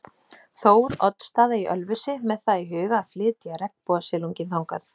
Þór- oddsstaða í Ölfusi með það í huga að flytja regnbogasilunginn þangað.